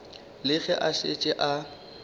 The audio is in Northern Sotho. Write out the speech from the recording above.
le ge a šetše a